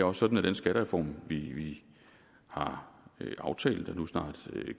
også sådan at den skattereform vi vi har aftalt og nu snart